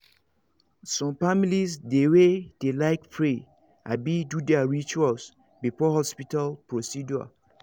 some families dey way dey like pray abi do their rituals before hospital procedure